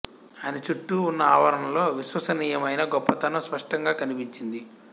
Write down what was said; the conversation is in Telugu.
ఆయన చుట్టూ ఉన్న ఆవరణలో విశ్వసనీయమైన గొప్పతనం స్పష్టంగా కనిపించింది